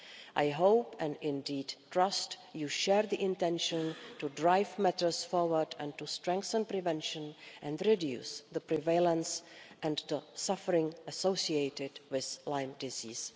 I hope, and indeed trust, you share the intention to drive matters forward, to strengthen prevention and reduce the prevalence and the suffering associated with Lyme disease.